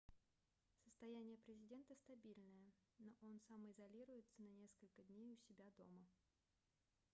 состояние президента стабильное но он самоизолируется на несколько дней у себя дома